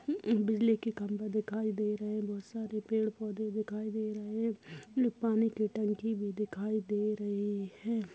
हम-बिजली के खम्बे दिखाई दे रहे हैं बहुत सारे पेड़ पौधे दिखाई दे रहे हैं पानी की टंकी भी दिखाई दे रही है।